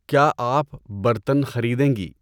کیا آپ برتن خریدیں گی؟